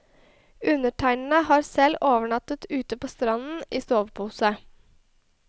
Undertegnede har selv overnattet ute på stranden i sovepose.